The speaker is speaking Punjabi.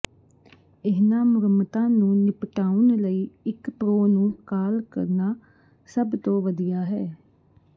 ਇਹਨਾਂ ਮੁਰੰਮਤਾਂ ਨੂੰ ਨਿਪਟਾਉਣ ਲਈ ਇੱਕ ਪ੍ਰੋ ਨੂੰ ਕਾਲ ਕਰਨਾ ਸਭ ਤੋਂ ਵਧੀਆ ਹੈ